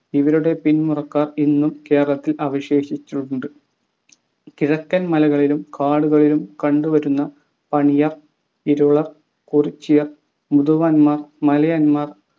ഇവരുടെ പിന്മുറക്കാർ ഇന്നും കേരളത്തിൽ അവശേഷിച്ചിട്ടുണ്ട് കിഴക്കൻ മലകളിലും കാടുകളിലും കണ്ടു വരുന്ന പണിയർ ഇരുളർ കുറിച്യർ മുതുവാന്മാർ മലയന്മാർ